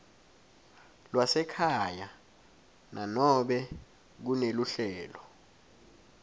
lwasekhaya nanobe kuneluhlelo